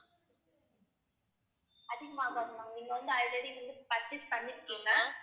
அதிகமாகாது ma'am நீங்க வந்து already வந்து purchase பண்ணிருக்கீங்க.